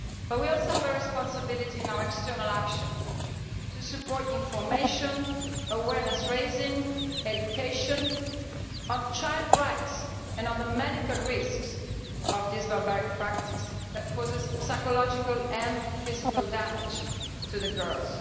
We also have a responsibility in our external action to support information, awareness raising, education on child rights and on the medical risks of this barbaric practice that causes psychological and physical damage to the girls.